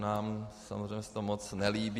Nám samozřejmě se to moc nelíbí.